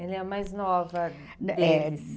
Ela é a mais nova deles? É.